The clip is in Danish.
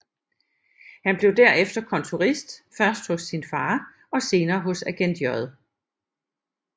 Han blev derefter kontorist først hos sin far og senere hos agent J